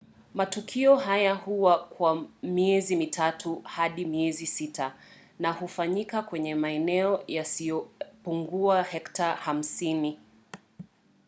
matukio hayo huwa kwa miezi mitatu hadi miezi sita na hufanyika kwenye maeneo yasiyopungua hekta 50